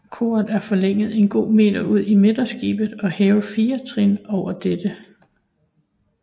Koret er forlænget en god meter ud i midterskibet og hævet fire trin over dette